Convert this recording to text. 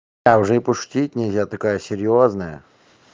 а уже и пошутить нельзя такая серьёзная